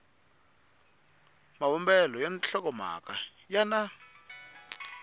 mavumbelo ya nhlokomhaka ya na